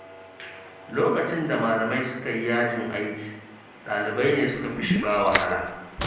Lokacin da malamai suka yi yajin aiki, ɗalibai ne suka fi shiga wahala.